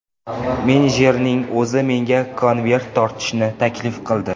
Menejerning o‘zi menga konvert tortishni taklif qildi.